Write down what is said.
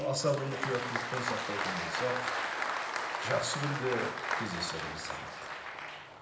аса бір мұқияттылықпен сақтайтын болсақ жақсы күнде кездесеріміз анық